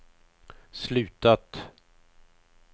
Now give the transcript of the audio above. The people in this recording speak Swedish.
slutat